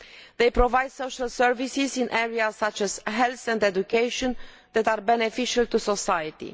They provide social services in areas such as health and education that are beneficial to society.